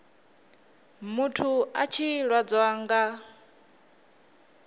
muthu a tshi lwadzwa nga